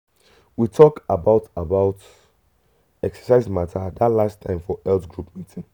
we talk about about exercise matter that last time for health group meeting.